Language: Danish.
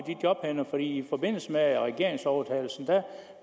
jobbene fra i forbindelse med regeringsovertagelsen